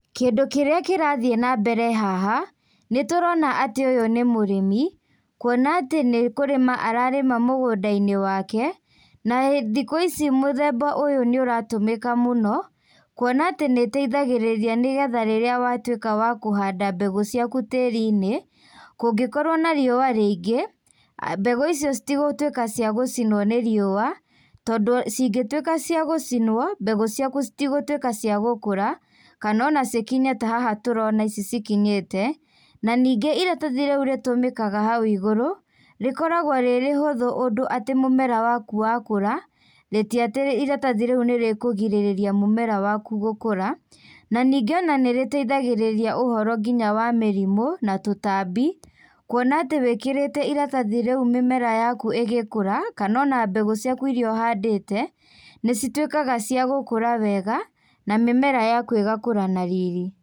Kĩndũ kĩrĩa kĩrathiĩ nambere haha, nĩtũrona atĩ ũyũ nĩ mũrĩmi, kuona atĩ nĩ kũrĩma ararĩma mũgũnda-inĩ wake, na he thikũ ici mũthemba ũyũ, nĩũratũmĩka mũno, kuona atĩ nĩteithagĩrĩria nĩgetha rĩrĩa watwĩka wa kũhanda mbegũ ciaku tĩri-inĩ, kũngĩkorwo na riúa rĩingĩ, aah mbegũ icio citingĩtwíka cia gũcinwo nĩ riũa, tondũ cingĩtwĩka cia gũcinwo, mbegũ ciaku citigũtwĩka cia gũkũra, kanona cikinye tahaha tũrona ici cikinyĩte, naningĩ iratathi rĩu rĩtũmĩkaga hau igũrũ, rĩkoragwo rĩrĩ rĩhũthũ ũndũ atĩ mũmera waku wakũra, rĩti atĩ iratathi rĩu nĩrĩkũgirĩrĩria mũmera waku gũkũra, na ningĩ ona nĩrĩteithagĩrĩria ũhoro nginya wa mĩrimũ, na tũtambi, kuona atĩ wĩkírĩte iratathi rĩu mĩmera yaku ĩgĩkũra, kanona mbegú ciaku iria ũhandĩte, nĩcitwĩkaga cia gũkũra wegana mĩmera yaku ĩgakũra na riri.